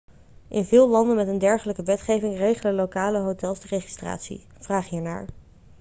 in veel landen met een dergelijke wetgeving regelen lokale hotels de registratie vraag hier naar